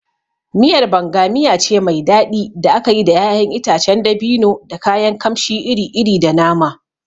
Miyar Banga miya ce mai daɗi da aka yi da ƴaƴan itacen dabino, da kayan kamshi iri-iri, da nama.